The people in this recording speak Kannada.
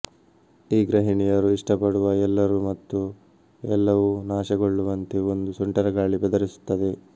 ಈ ಗೃಹಿಣಿಯರು ಇಷ್ಟಪಡುವ ಎಲ್ಲರೂ ಮತ್ತು ಎಲ್ಲವೂ ನಾಶಗೊಳ್ಳುವಂತೆ ಒಂದು ಸುಂಟರಗಾಳಿ ಬೆದರಿಸುತ್ತದೆ